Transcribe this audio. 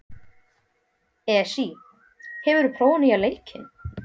Esí, hefur þú prófað nýja leikinn?